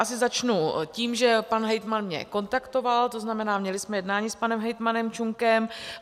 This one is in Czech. Asi začnu tím, že pan hejtman mě kontaktoval, to znamená, měli jsme jednání s panem hejtmanem Čunkem.